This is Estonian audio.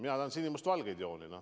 Mina tahan sinimustvalgeid jooni.